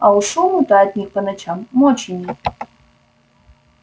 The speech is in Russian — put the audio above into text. а уж шуму-то от них по ночам мочи нет